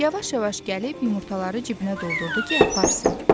Yavaş-yavaş gəlib yumurtaları cibinə doldurdu ki, aparsın.